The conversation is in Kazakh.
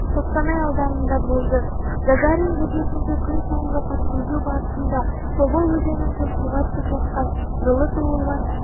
қостанай ауданында болды гагарин бөгетінде күнсайынғы патрульдеу барысында тобыл өзенінде суға түсіп жатқан жылы туылған